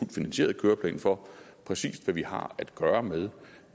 finansieret køreplan for præcis hvad vi har at gøre med